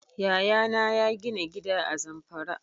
Yaya na ya gina gida a Zamfara